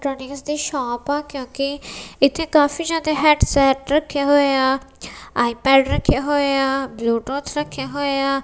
Thirty ਗਜ ਦਾ shop ਆ ਕਿਉਂਕਿ ਇੱਥੇ ਕਾਫੀ ਜਿਆਦਾ ਹੈਡ ਸੈਟ ਰੱਖੇ ਹੋਏ ਆ ਆਈ ਪੈਡ ਰੱਖੇ ਹੋਏ ਆ ਬਲੂ ਟੁਥ ਰੱਖੇ ਹੋਏ ਆ।